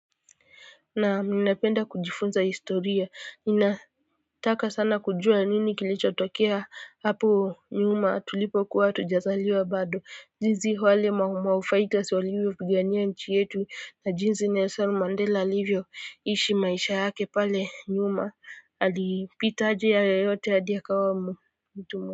Na ninapenda kujifunza historia ninataka sana kujua nini kilichotokea hapo nyuma tulipo kuwa hatujazaliwa bado. Jinsi wale Maumau fighters walivyo pigania nchi yetu na jinsi Nelson Mandela alivyo ishi maisha yake pale nyuma alipita aje hayo yote hadi akawa mtu.